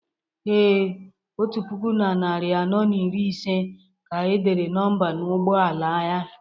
Ee, otu puku na narị anọ na iri ise ka e dere nọmba n’ụgbọ ala ya